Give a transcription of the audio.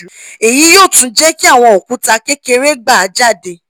eyi yoo tun je ki awon okuta kekere gba jade